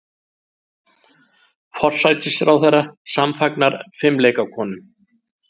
Forsætisráðherra samfagnar fimleikakonum